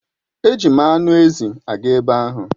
Eji m anụ ezi aga ebe ahụ.